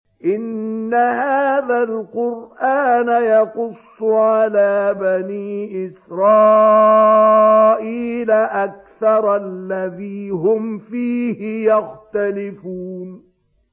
إِنَّ هَٰذَا الْقُرْآنَ يَقُصُّ عَلَىٰ بَنِي إِسْرَائِيلَ أَكْثَرَ الَّذِي هُمْ فِيهِ يَخْتَلِفُونَ